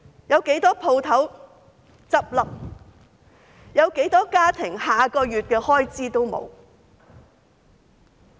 有多少個家庭連下個月的開支都沒有？